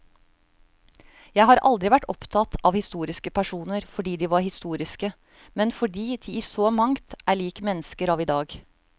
Jeg har aldri vært opptatt av historiske personer fordi de var historiske, men fordi de i så mangt er lik mennesker av i dag.